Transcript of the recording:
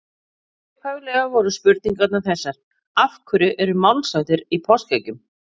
Upphaflega voru spurningarnar þessar: Af hverju eru málshættir í páskaeggjum?